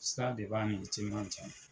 Sira de b'a ni teliman cɛ.